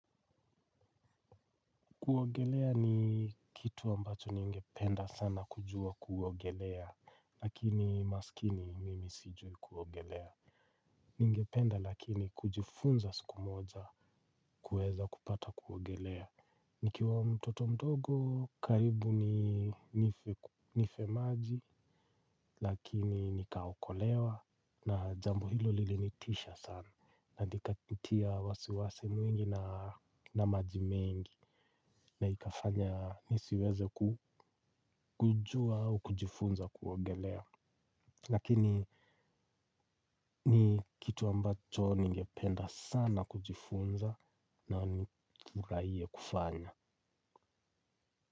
Kuogelea ni kitu ambacho ningependa sana kujua kuogelea, lakini maskini mimi sijui kuogelea. Ningependa lakini kujifunza siku moja kueza kupata kuogelea. Nikiwa mtoto mdogo karibu ni nife maji lakini nikaokolewa na jambo hilo lili nitisha sana. Na likanitia wasiwasi mwingi na majimengi na ikafanya nisiweze kujuwa au kujifunza kuogelea. Lakini ni kitu ambacho ningependa sana kujifunza na nifurahie kufanya.